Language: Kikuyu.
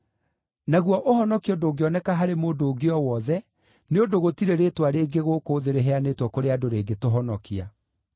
Naguo ũhonokio ndũngĩoneka harĩ mũndũ ũngĩ o wothe, nĩ ũndũ gũtirĩ rĩĩtwa rĩngĩ gũkũ thĩ rĩheanĩtwo kũrĩ andũ rĩngĩtũhonokia.”